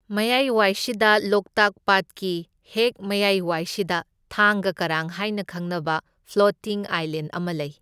ꯃꯌꯥꯏꯋꯥꯏꯁꯤꯗ ꯂꯣꯛꯇꯥꯛ ꯄꯥꯠꯀꯤ ꯍꯦꯛ ꯃꯌꯥꯏꯋꯥꯏꯁꯤꯗ ꯊꯥꯡꯒ ꯀꯔꯥꯡ ꯍꯥꯏꯅ ꯈꯪꯅꯕ ꯐ꯭ꯂꯣꯇꯤꯡ ꯑꯥꯏꯂꯦꯟ ꯑꯃ ꯂꯩ꯫